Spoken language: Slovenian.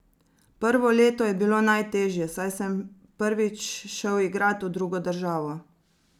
Prvo leto je bilo najtežje, saj sem prvič šel igrat v drugo državo.